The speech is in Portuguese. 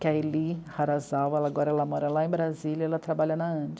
que é a Eli Harazawa, agora ela mora lá em Brasília e ela trabalha na ANDI.